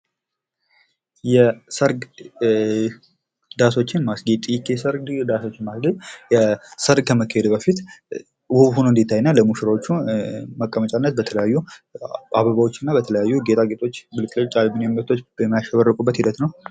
የሰርግ ዳሶችን ማስጌጥ :- የሰርግ ዳሶችን ማስጌጥ ሰርግ ከመካሄዱ በፊት ዉብ ሆኖ እንዲታይ እና ለሚሽራዎቹ መቀመጫ በተለያዩ አበባዎች እና ጌጣጌጦች የሚያሸበርቁበት ሂደት ነዉ።